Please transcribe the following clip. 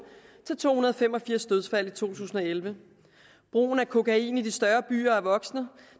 til to hundrede og fem og firs dødsfald i to tusind og elleve brugen af kokain i de større byer er voksende